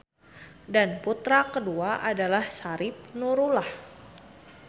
Dan putra kedua adalah Syarif Nurullah.